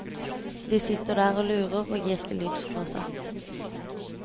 De sitter der og lurer og gir ikke lyd fra seg.